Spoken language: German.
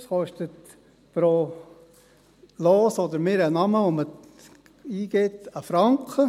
Dies kostet pro Los oder Namen, den man eingibt, 1 Franken.